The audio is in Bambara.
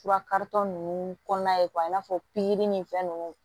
Fura karitɔ ninnu kɔnɔna ye i n'a fɔ ni fɛn ninnu